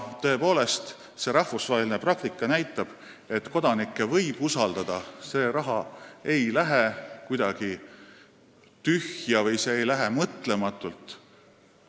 Tõepoolest, rahvusvaheline praktika näitab, et kodanikke võib usaldada – see raha ei lähe kuidagi tühja või mõtlematult kuhugi.